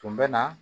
Tun bɛ na